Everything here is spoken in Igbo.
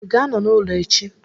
Ị ga-anọ n'ụlọ echi?